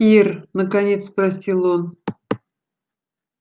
ир наконец спросил он